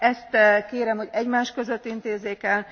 Ezt kérem, hogy egymás között intézzék el.